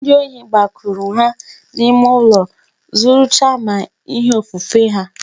Ndi ohi gbakwuru ha n'ime ụlọ zuru chaa ma ihe ofufe ha